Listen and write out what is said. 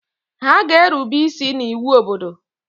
Ha ga-erube isi n’iwu obodo!